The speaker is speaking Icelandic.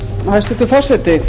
hæstvirtur forseti